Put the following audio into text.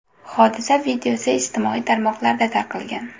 Hodisa videosi ijtimoiy tarmoqlarda tarqalgan .